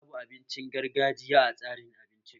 Babu abincin gargajiya a tsarin abincin